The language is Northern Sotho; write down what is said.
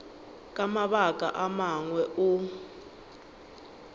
ka mabaka a mangwe o